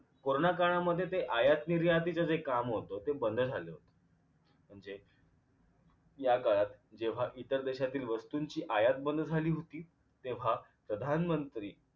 corona काळामध्ये ते आयात निर्यातीचे जे काम होत ते बंद झालं म्हणजे या काळात जेव्हा इतर देशातील वस्तूंची आयात बंद झाली होती तेव्हा प्रधानमंत्री